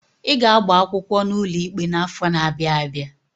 I ga-agba akwụkwọ n'ụlọ ikpe n'afọ n'abia abịa!